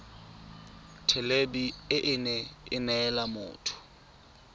thelebi ene e neela motho